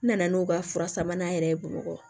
N nana n'o ka fura sabanan yɛrɛ ye boloko